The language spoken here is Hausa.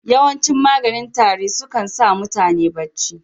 Yawancin maganin tari su kan sa mutane bacci.